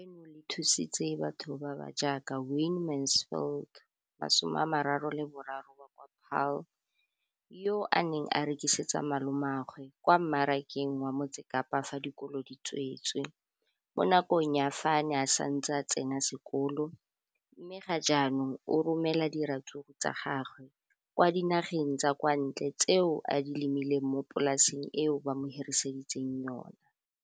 Leno le thusitse batho ba ba jaaka Wayne Mansfield, 33, wa kwa Paarl, yo a neng a rekisetsa malomagwe kwa Marakeng wa Motsekapa fa dikolo di tswaletse, mo nakong ya fa a ne a santse a tsena sekolo, mme ga jaanong o romela diratsuru tsa gagwe kwa dinageng tsa kwa ntle tseo a di lemileng mo polaseng eo ba mo hiriseditseng yona.